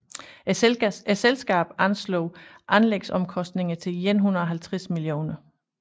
Selskabet anslog anlægsomkostningerne til 150 mio